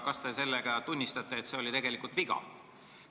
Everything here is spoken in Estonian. Kas te sellega tunnistate, et see oli tegelikult viga?